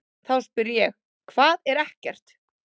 Þá spyr ég: HVAÐ ER EKKERT?